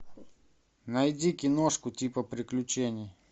найди киношку типа приключений